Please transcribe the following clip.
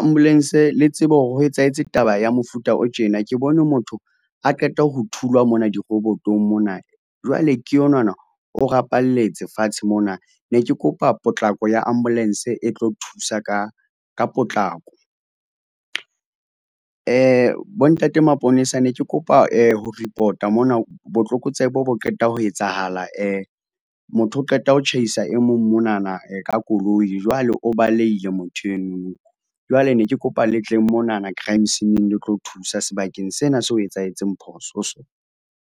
Ambulance le tsebe hore ho etsahetse taba ya mofuta o tjena ke bone motho a qeta ho thulwa mona dirobotong mona. Jwale ke onana o rapalletse fatshe mona, ne ke kopa potlako ya ambulance e tlo thusa ka potlako. Bontate Maponesa ne ke kopa ho report-a mona botlokotsebe bo qeta ho etsahala motho o qeta ho tjhaisa e mong monana ka koloi, jwale o balehile motho eno jwale ne ke kopa le tleng monana crime scene-eng le tlo thusa sebakeng sena se ho etsahetseng phoso ho sona.